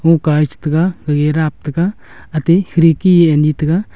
huka che taiga huye dap taiga ate kherki anyi taiga.